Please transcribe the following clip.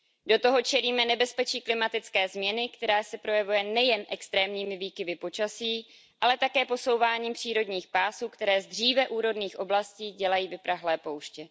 Do toho čelíme nebezpečí klimatické změny, která se projevuje nejen extrémními výkyvy počasí, ale také posouváním přírodních pásů, které z dříve úrodných oblastí dělají vyprahlé pouště.